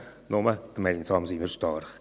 Nur gemeinsam sind wir stark.